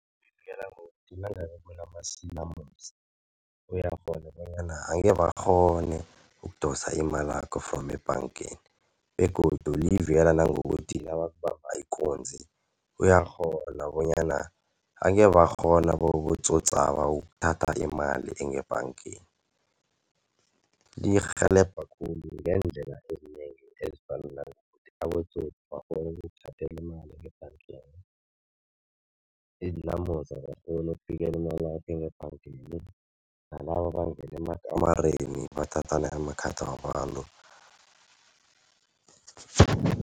Livikela ngokuthi nangabe kunamasilamosi uyakghona bonyana angekhe bakghone ukudosa imalakho from ebhangeni begodu livikela nangokuthi nabakubamba ikunzi, uyakghona bonyana angeze bakghone abotsotsaba ukuthatha imali engebhangeni. Lirhelebha khulu ngeendlela ezinengi ezifana nangokuthi abotsotsi bakghone ukukuthathela imali ngebhangeni. Iinlamosi azikghoni ukufikela imalakho engebhangeni, nalaba abangena amakamereni bathathe amakhadi wabantu.